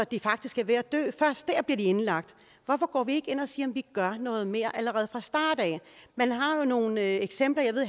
de faktisk er ved at dø først der bliver de indlagt hvorfor går vi ikke ind og siger at vi gør noget mere allerede fra start af man har jo nogle eksempler jeg ved